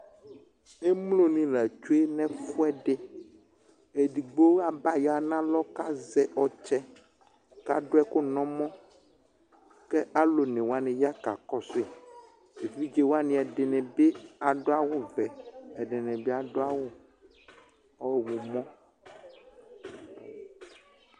émloni latsue nɛfuɛdi edigbo abaya nalɔ kazɛ ɔtsɛ kaduɛku nɛmɔ kalɔnewani ya kakɔsui éʋidzewani ɛdinibi àduawuʋɛ ɛdinibi àduawu ɔhumɔ